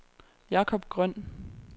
Jacob Grøn